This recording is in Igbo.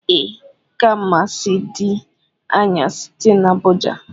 Ee, Kumasi di anya site n'Abuja